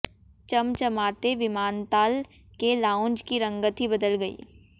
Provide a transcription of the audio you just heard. चमचमाते विमानतल के लाउंज की रंगत ही बदल गई